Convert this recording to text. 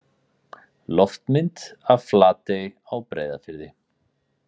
Loftmynd af Flatey á Breiðafirði.